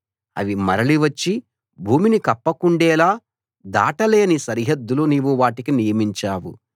అవి మరలి వచ్చి భూమిని కప్పకుండేలా దాటలేని సరిహద్దులు నీవు వాటికి నియమించావు